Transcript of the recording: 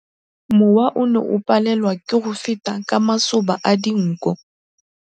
Mowa o ne o palelwa ke go feta ka masoba a dinko.